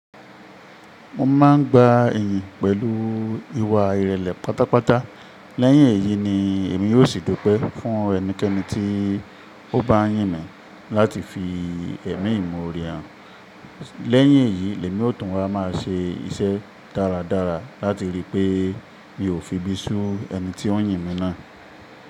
Mo máa ń gba iyìn pẹ̀lú ìwà ìrẹ̀lẹ̀ pátápátá. Lẹ́yìn èyí ni èmi yóò ṣì dupe fún ẹnikẹ́ni tí ó bá yìn mí láti fi ẹ̀mí mi imorẹ̀ hàn. Lẹ́yìn èyí, èmi ó tún wá máa ṣe iṣẹ́ dáradára láti rí pé mi ò fi ibi sú ẹni tí ó yìn mí náà.